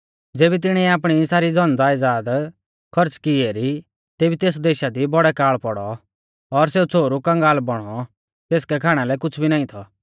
ज़ेबी तिणीऐ आपणी सारी धनज़यदाद खौर्च़ की एरी तेबी तेस देशा दी बौड़ौ काल़ पौड़ौ और सेऊ छ़ोहरु कंगाल बौणौ तेसकै खाणा लै कुछ़ भी नाईं थौ